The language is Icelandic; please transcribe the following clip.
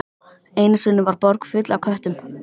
Einu sinni var borg full af köttum.